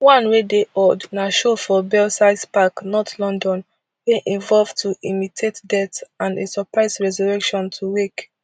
one wey dey odd na show for belsize park north london wey involve to imitate death and a surprise resurrection to wake